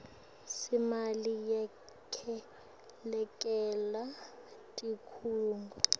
semali yekwelekelela tikhungo